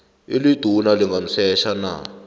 eliduna lingamsetjha na